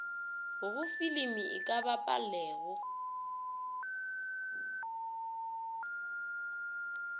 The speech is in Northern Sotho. go filimi e ka bapalega